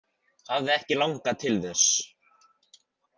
Hafði ekki langað til þess.